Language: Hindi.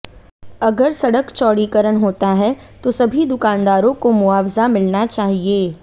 अगर सड़क चौड़ीकरण होता है तो सभी दुकानदारों को मुआवजा मिलना चाहिए